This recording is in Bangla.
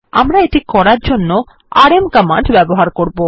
আমরা এটি করার জন্য আরএম কমান্ড ব্যবহার করবো